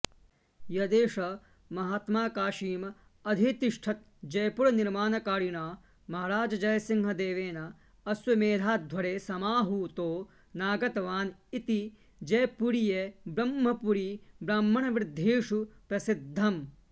यदेष महात्मा काशीमधितिष्ठत् जयपुरनिर्माणकारिणा महाराजजयसिंहदेवेन अश्वमेधाध्वरे समाहूतो नागतवानिति जयपुरीयब्रह्मपुरीब्राह्मणवृध्देषु प्रसिध्दम्